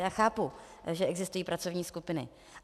Já chápu, že existují pracovní skupiny.